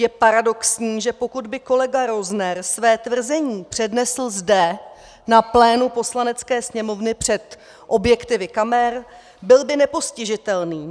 Je paradoxní, že pokud by kolega Rozner své tvrzení přednesl zde, na plénu Poslanecké sněmovny, před objektivy kamer, byl by nepostižitelný.